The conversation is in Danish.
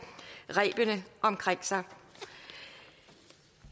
rebene omkring sig